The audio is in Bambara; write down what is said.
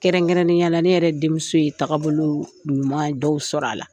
Kɛrɛnkɛrɛnnenya la ne yɛrɛ denmuso ye taabolo ɲuman dɔw sɔrɔ a la.